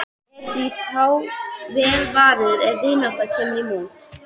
Er því þá vel varið ef vinátta kemur í mót.